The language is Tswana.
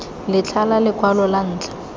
letlha la lekwalo la ntlha